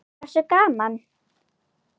Hversu gaman??